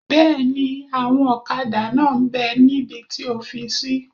Bẹ́ẹ̀ni, ẹ̀wọ̀n ọ̀kadà náà m bẹ́ níbi tí o fi sí